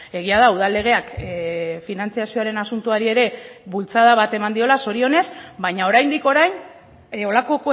egia da udal legeak finantzazioaren asuntoari ere bultzada bat eman diola zorionez baina oraindik orain holako